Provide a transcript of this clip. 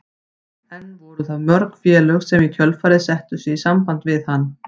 En voru það mörg félög sem í kjölfarið settu sig í samband við hann?